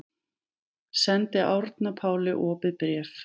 Sendir Árna Páli opið bréf